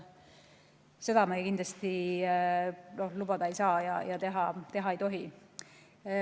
Seda me kindlasti lubada ei saa ja teha ei tohi.